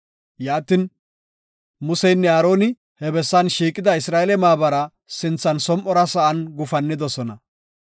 Yaatin, Museynne Aaroni he bessan shiiqida Isra7eele maabara sinthan som7ora sa7an gufannidosona.